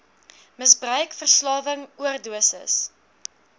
misbruik verslawing oordosis